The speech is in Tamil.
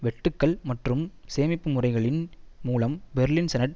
வெட்டுக்கள் மற்றும் சேமிப்பு முறைகளின் மூலம் பெர்லின் செனட்